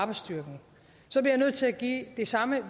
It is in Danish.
betaler lige så meget